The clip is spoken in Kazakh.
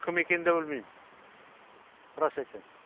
кім екенін да білмейм рас айтайын